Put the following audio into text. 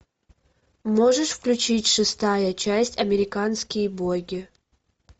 можешь включить шестая часть американские боги